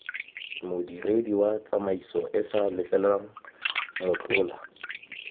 modiredi wa tsamaisoeesa letleleleng motlola